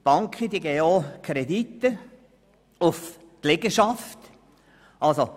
Die Banken geben Kredite auf die Liegenschaften.